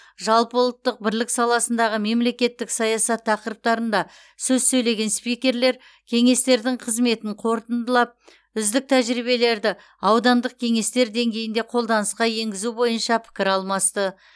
жалпыұлттық бірлік саласындағы мемлекеттік саясат тақырыптарында сөз сөйлеген спикерлер кеңестердің қызметін қорытындылап үздік тәжірибелерді аудандық кеңестер деңгейінде қолданысқа енгізу бойынша пікір алмасты